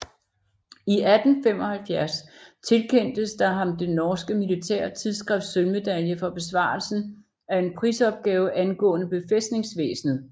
I 1875 tilkendtes der ham det norske militære tidsskrifts sølvmedalje for besvarelsen af en prisopgave angående befæstningsvæsenet